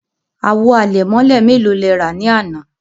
Àwò àlẹ̀mọ̀lẹ̀ mẹ́lò lè rà ní àná?